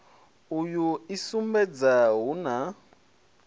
uyu i sumbedza hu na